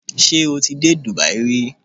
Ṣé o ti dé Dubai rí?